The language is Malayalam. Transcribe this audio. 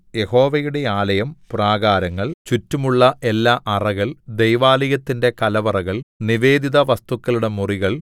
യഹോവയുടെ ആലയം പ്രാകാരങ്ങൾ ചുറ്റുമുള്ള എല്ലാഅറകൾ ദൈവാലയത്തിന്റെ കലവറകൾ നിവേദിത വസ്തുക്കളുടെ മുറികൾ